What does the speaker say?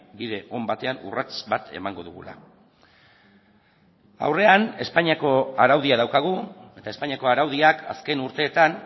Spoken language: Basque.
bide on batean urrats bat emango dugula aurrean espainiako araudia daukagu eta espainiako araudiak azken urteetan